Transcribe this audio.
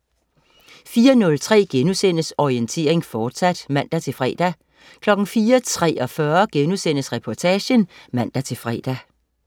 04.03 Orientering, fortsat* (man-fre) 04.43 Reportagen* (man-fre)